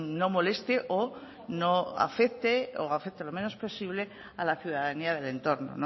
no moleste o no afecte o afecte lo menos posible a la ciudadanía del entorno